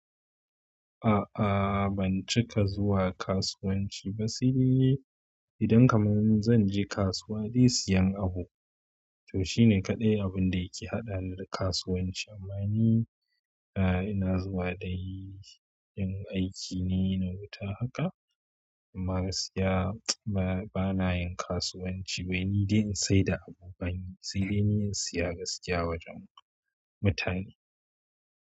A'a ban cika zuwa kasuwanci ba sai dai idan kamar zan je kasuwa dai siyan abu. To shine kaɗai abun da yake haɗani da kasuwanci. Amma ni a ina zuwa dai in aiki ne na wuta haka amma gaskiya bana yin kasuwanci ba wai ni dai in saida abu bani. Sai dai ni na siya gaskiya wajen mutane.